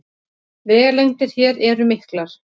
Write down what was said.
Vegalengdir hér eru miklar